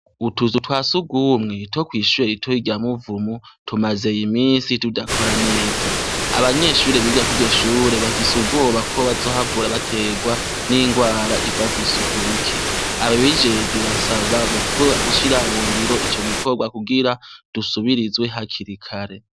Utuzu twa sugumwe two kw’ishuri ritoya rya Muvumu ,tumaze imisi tudakora neza. Abanyeshure biga kuryo shure bafise ubwoba ko bazohavura bategwa n’ingwara iva kwisuku rike. Ababijejwe basabwa gushira mungiro ico gikorwa kugira dusubirizwe hakiri kare.